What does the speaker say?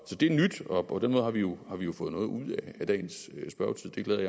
det er nyt og på den måde har vi jo fået noget ud af dagens spørgetid det glæder